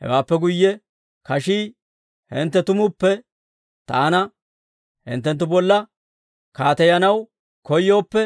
Hewaappe guyye kashii, ‹Hintte tumuppe taana hinttenttu bolla kaateyanaw koyooppe,